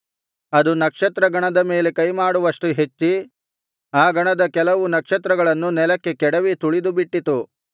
ಅದು ನಕ್ಷತ್ರ ಗಣದ ಮೇಲೆ ಕೈಮಾಡುವಷ್ಟು ಹೆಚ್ಚಿ ಆ ಗಣದ ಕೆಲವು ನಕ್ಷತ್ರಗಳನ್ನು ನೆಲಕ್ಕೆ ಕೆಡವಿ ತುಳಿದುಬಿಟ್ಟಿತು